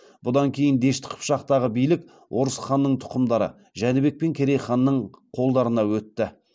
бұдан кейін дешті қыпшақтағы билік орыс ханның тұқымдары жәнібек хан мен керей ханның қолдарына өтті